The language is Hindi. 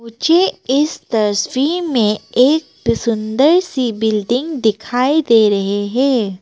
मुझे इस तस्वीर में एक सुंदर सी बिल्डिंग दिखाई दे रहे हैं।